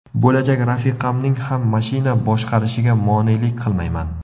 Bo‘lajak rafiqamning ham mashina boshqarishiga monelik qilmayman.